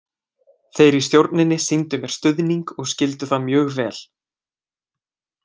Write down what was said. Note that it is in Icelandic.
Þeir í stjórninni sýndu mér stuðning og skildu það mjög vel.